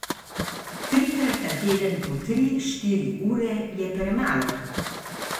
Trikrat na teden po tri, štiri ure je premalo.